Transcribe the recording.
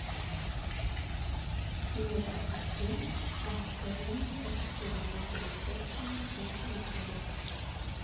привет ассистент расскажи мне про часы работы ресепшена в нашем отеле